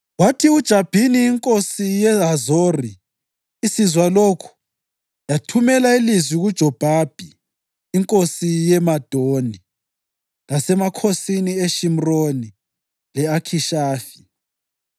Abakhokheli bezimuli zabaLevi balanda u-Eliyazari umphristi, uJoshuwa indodana kaNuni, labakhokheli bezinye izimuli ezizwaneni zako-Israyeli